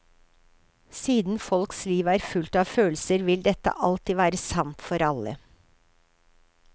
Siden folks liv er fullt av følelser, vil dette alltid være sant for alle.